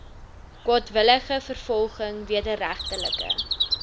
kwaadwillige vervolging wederregtelike